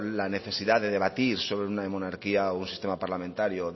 la necesidad de debatir sobre una monarquía o sobre un sistema parlamentario